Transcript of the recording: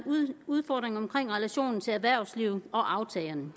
udfordring vedrørende relationen til erhvervslivet og aftagerne